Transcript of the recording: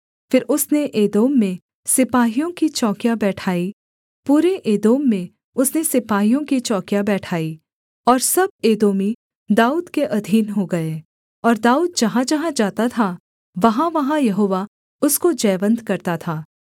फिर उसने एदोम में सिपाहियों की चौकियाँ बैठाईं पूरे एदोम में उसने सिपाहियों की चौकियाँ बैठाईं और सब एदोमी दाऊद के अधीन हो गए और दाऊद जहाँजहाँ जाता था वहाँवहाँ यहोवा उसको जयवन्त करता था